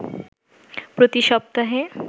প্রতি সপ্তাহে